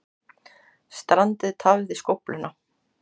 Strandið tafði skófluna